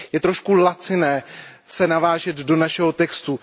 Je trošku laciné se navážet do našeho textu.